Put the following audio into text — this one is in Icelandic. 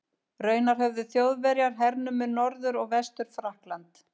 Raunar höfðu Þjóðverjar hernumið Norður- og Vestur-Frakkland.